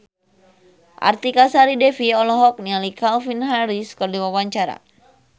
Artika Sari Devi olohok ningali Calvin Harris keur diwawancara